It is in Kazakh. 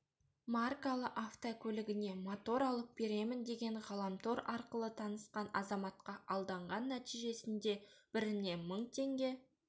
маркалы автокөлігіне мотор алып беремін деген ғаламтор арқылы танысқан азаматқа алданған нәтижесінде біріне мың теңге